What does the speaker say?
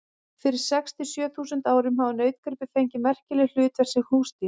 Fyrir sex til sjö þúsund árum hafa nautgripir fengið merkileg hlutverk sem húsdýr.